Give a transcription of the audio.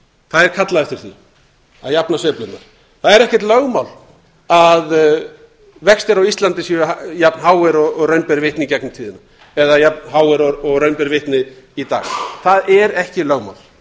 það er kallað eftir því að jafna sveiflurnar það er ekkert lögmál að vextir á íslandi séu jafn háir og raun ber vitni í gegnum tíðina eða jafn háir og raun ber vitni í dag það er ekki lögmál